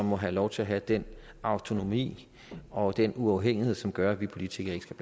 må have lov til at have den autonomi og den uafhængighed som gør at vi politikere ikke skal